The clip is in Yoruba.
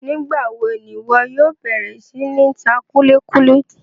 Nigbawo ni iwọ yóò bẹrẹ si ni ta kuli kuli?